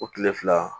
O kile fila